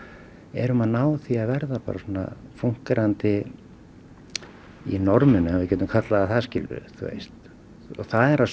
erum að ná að verða fúnkerandi í norminu ef við getum kallað það það